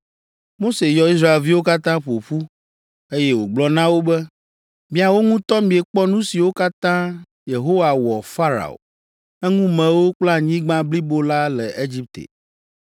Mose yɔ Israelviwo katã ƒo ƒu, eye wògblɔ na wo be: Miawo ŋutɔ miekpɔ nu siwo katã Yehowa wɔ Farao, eŋumewo kple anyigba blibo la le Egipte.